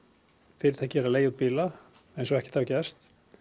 fyrirtækið er enn að leigja út bíla eins og ekkert hafi gerst